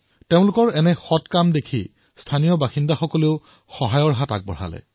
তেওঁলোকৰ এই ভাল কাম দেখি স্থানীয় লোকসকলেও সহায়ৰ হাত আগবঢ়ালে